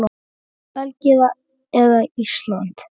Belgía eða Ísland?